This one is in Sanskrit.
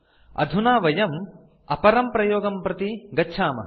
अधुना वयम् अपरं प्रयोगं प्रति गच्छामः